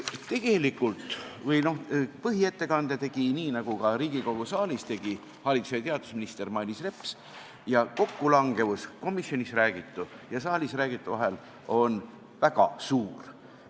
Tegelikult põhiettekande tegi – nagu ka Riigikogu saalis – haridus- ja teadusminister Mailis Reps ja kokkulangevus komisjonis räägitu ja saalis räägitu vahel on väga suur.